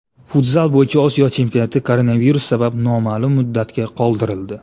Futzal bo‘yicha Osiyo chempionati koronavirus sabab noma’lum muddatga qoldirildi.